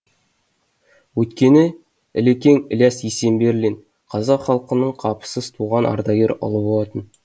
өйткені ілекең ілияс есенберлин қазақ халқының қапысыз туған ардагер ұлы болатын